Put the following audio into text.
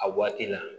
A waati la